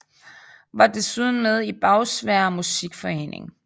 Var desuden med i Bagsværd Musikforening